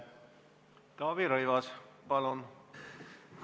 Taavi Rõivas, palun!